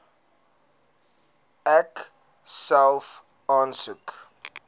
ek self aansoek